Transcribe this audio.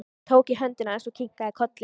Ég tók í hönd hans og kinkaði kolli.